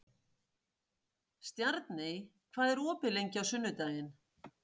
Stjarney, hvað er opið lengi á sunnudaginn?